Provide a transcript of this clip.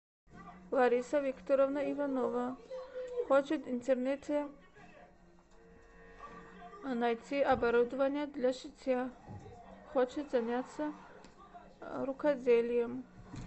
лариса викторовна иванова хочет в интернете найти оборудование для шитья хочет заняться рукоделием